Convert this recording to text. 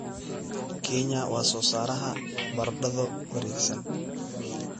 Kenya waa soo saaraha baradho wareegsan.